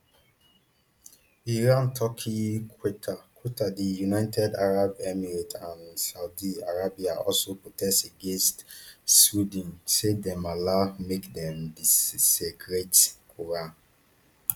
iran turkey qatar qatar di united arab emirates and saudi arabia also protest against sweden say dem allow make dem desecrate quran